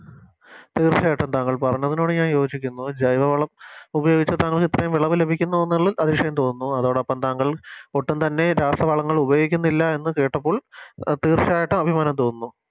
തീർച്ചയായിട്ടും താങ്കൾ പറഞ്ഞതിനോട് ഞാൻ യോചിക്കുന്നു ജൈവവളം ഉപയോഗിച്ച് താങ്കൾക്ക് ഇത്രയും വിളവ് ലഭിക്കുന്നു എന്നുള്ളതിൽ അതിശയം തോന്നുന്നു അതോടൊപ്പം താങ്കൾ ഒട്ടും തന്നെ രാസവളങ്ങൾ ഉപയോഗിക്കുന്നില്ല എന്ന് കേട്ടപ്പോൾ തീർച്ചയായിട്ടും അഭിമാനം തോന്നുന്നു